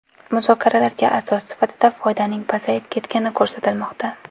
Muzokaralarga asos sifatida foydaning pasayib ketgani ko‘rsatilmoqda.